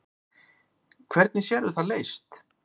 Hvernig sérðu það leyst?